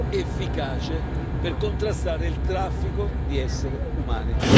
efficace per contrastare il traffico di essere umani.